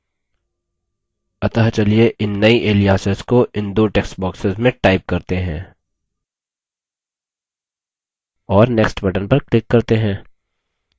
अतः चलिए इन नई aliases को इन दो text boxes में type करते हैं और next button पर click करते हैं